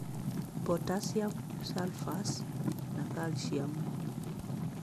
Potassium phosphorus na calcium.